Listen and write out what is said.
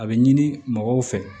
A bɛ ɲini mɔgɔw fɛ